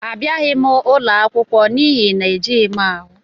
Abịaghị m ụlọ akwụkwọ n'ihi na ejighị m ahụ.